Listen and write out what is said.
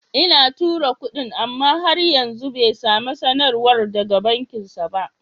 Ina tura kudin, amma har yanzu bai sami sanarwar daga bankinsa ba.